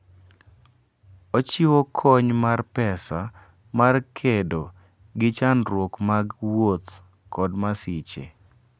Ochiwo kony mar pesa mar kedo gi chandruok mag wuoth kod masiche.